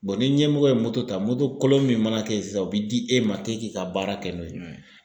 ni ɲɛmɔgɔ ye moto ta, moto kolon min mana kɛ ye sisan o bɛ di e ma k'e k'i ka baara kɛ n'o ye.